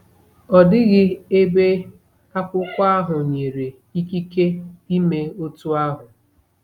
Ọ dịghị ebe akwụkwọ ahụ nyere ikike ime otú ahụ.